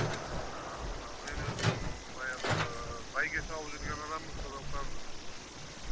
ыыы мына мен өзім баяғыда бәйге салып жүрген адаммын сондықтан